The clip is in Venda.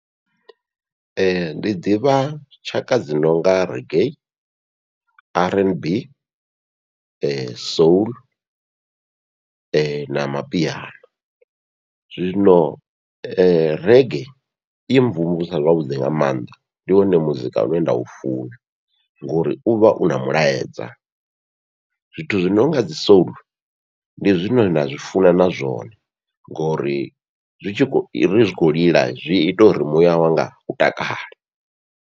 Ee ndi ḓivha tshaka dzi nonga reggae, r n b, soul, na mapiano zwino reggae i mvumvusa zwavhuḓi nga maanḓa ndi wone muzika une nda u funa, ngori uvha u na mulaedza zwithu zwi nonga dzi soul ndi zwine nda zwi funa na zwone ngori zwi tshi kho zwi tshi khou lila zwi ita uri muya wanga u takale.